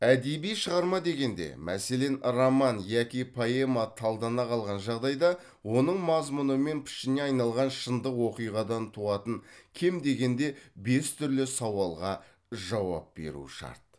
әдеби шығарма дегенде мәселен роман яки поэма талдана қалған жағдайда оның мазмұны мен пішініне айналған шындық оқиғадан туатын кем дегенде бес түрлі сауалға жауап беру шарт